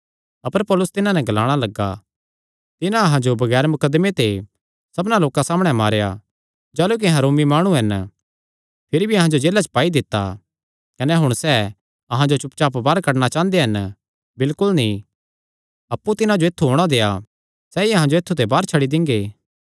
अपर पौलुस तिन्हां नैं ग्लाणा लग्गा तिन्हां अहां जो बगैर मुकदमे ते सबना लोकां सामणै मारेया जाह़लू कि अहां रोमी माणु हन भिरी भी अहां जो जेला च पाई दित्ता कने हुण सैह़ अहां जो चुपचाप बाहर कड्डणा चांह़दे हन बिलकुल नीं अप्पु तिन्हां जो ऐत्थु औणां देआ सैई अहां जो ऐत्थु ते बाहर छड्डी दिंगे